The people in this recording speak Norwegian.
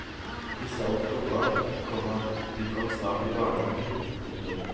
Hvis alt går bra, komma begynner han snart i barnehagen. punktum